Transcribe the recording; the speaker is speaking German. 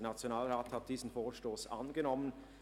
Der Nationalrat hat diesen Vorstoss angenommen;